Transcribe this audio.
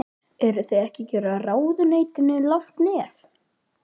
Eruð þið ekki að gefa ráðuneytinu langt nef?